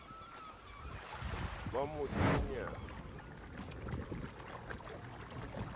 ba motenya bo ka fokotswa